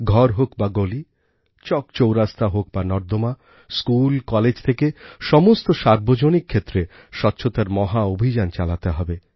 ঘর হোক বা গলি চকচৌরাস্তা হোক বা নর্দমা স্কুল কলেজ থেকে সমস্ত সার্বজনিক ক্ষেত্রে স্বচ্ছতার মহা অভিযান চালাতে হবে